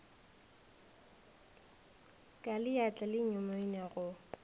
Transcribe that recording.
ka leatla le nyumonia go